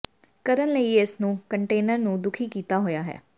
ਕਰਨ ਲਈ ਇਸ ਨੂੰ ਕੰਟੇਨਰ ਨੂੰ ਦੁਖੀ ਕੀਤਾ ਹੋਇਆ ਹੈ